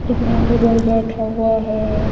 घुटने के बल बैठा हुआ है।